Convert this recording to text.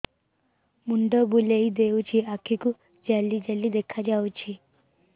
ମୁଣ୍ଡ ବୁଲେଇ ଦେଉଛି ଆଖି କୁ ଜାଲି ଜାଲି ଦେଖା ଯାଉଛି